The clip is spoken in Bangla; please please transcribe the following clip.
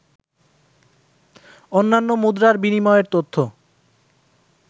অন্যান্য মুদ্রার বিনিময়ের তথ্য